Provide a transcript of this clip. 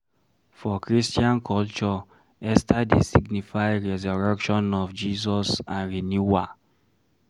For christian culture Easter dey signify resurrection of Jesus and renewal